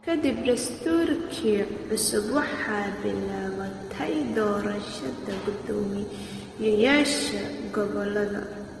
Ka dib dastuurkii cusub, waxaa bilaabatay doorashada guddoomiyeyaasha gobollada.